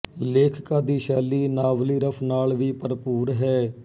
ਲੇਖਿਕਾ ਦੀ ਸ਼ੈਲੀ ਨਾਵਲੀ ਰਸ ਨਾਲ ਵੀ ਭਰਪੂਰ ਹੈ